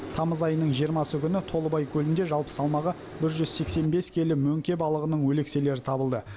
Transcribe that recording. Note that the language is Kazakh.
тамыз айының жиырмасы күні толыбай көлінде жалпы салмағы бір жүз сексен бес келі мөңке балығының өлекселері табылды